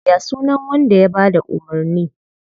Ya sunan wanda ya bada umurni?